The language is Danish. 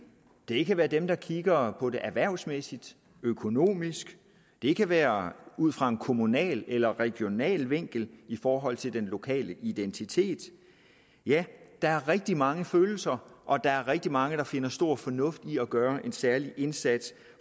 det kan være dem der kigger på det erhvervsmæssigt økonomisk det kan være ud fra en kommunal eller regional vinkel i forhold til den lokale identitet ja der er rigtig mange følelser og der er rigtig mange der finder stor fornuft i at gøre en særlig indsats